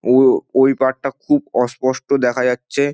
ওয় ওই পার্ট -টা খুব অস্পষ্ট দেখা যাচ্ছে।